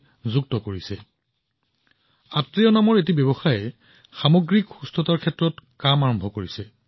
একেদৰে আত্ৰেয় উদ্ভাৱন এক স্বাস্থ্যসেৱা প্ৰযুক্তি ষ্টাৰ্টআপ সামগ্ৰিক সুস্থতাৰ ক্ষেত্ৰত কাম কৰি আছে